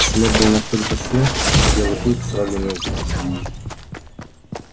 след был настолько свеж что белый клык сразу не узнал его